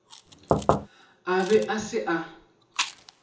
a be a se a